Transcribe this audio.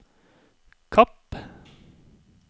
Kapp